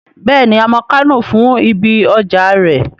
Bẹ́ẹ̀ni, a mọ Kánò fún ibi ọjà rẹ̀